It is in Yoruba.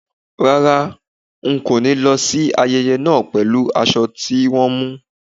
Rárá, ń kó ni lọ síí ayẹyẹ náà pẹ̀lú aṣọ tí wọn mú.